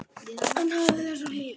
Hann hafði þessa hlýju.